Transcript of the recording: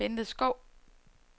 Bente Schou